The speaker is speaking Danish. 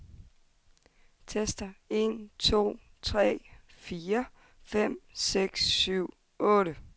Tester en to tre fire fem seks syv otte.